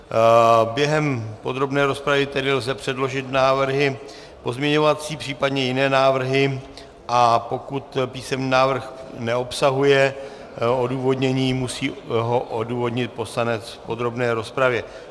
Během podrobné rozpravy tedy lze předložit návrhy pozměňovací, případně jiné návrhy, a pokud písemný návrh neobsahuje odůvodnění, musí ho odůvodnit poslanec v podrobné rozpravě.